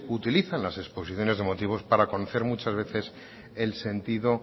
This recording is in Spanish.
utilizan las exposiciones de motivos para conocer muchas veces el sentido